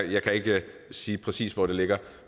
jeg kan ikke sige præcis hvor det ligger